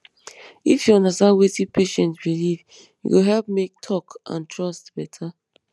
if you understand wetin patient believe e go help make talk and trust better